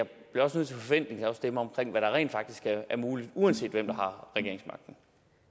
forventningsafstemme hvad der rent faktisk er muligt uanset hvem der har regeringsmagten